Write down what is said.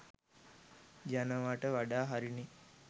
යනවට වඩා හරි නේ.